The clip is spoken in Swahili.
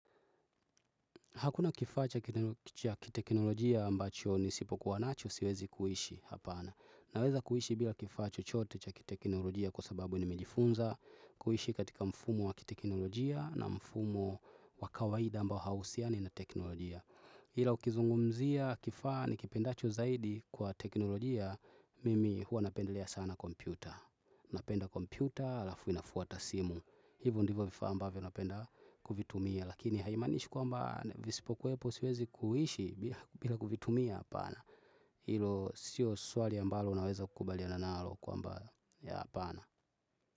Hakuna kifaa cha kiteknolojia ambacho nisipokuwa nacho siwezi kuishi, hapana. Naweza kuishi bila kifaa chochote cha kiteknolojia, kwa sababu nimejifunza kuishi katika mfumo wa kiteknolojia, na mfumo wa kawaida ambao hauhusiani na teknolojia. Ila ukizungumzia kifaa nikipendacho zaidi kwa teknolojia mimi huwa napendelea sana kompyuta. Napenda kompyuta alafu inafuata simu. Hivyo ndivyo vifaa ambavyo ninapenda kuvitumia, lakini haimaanishi kwamba visipokuwepo siwezi kuishi bila kuvitumia, hapana Hilo si swali ambalo unaweza kukubaliana nalo kwamba hapana.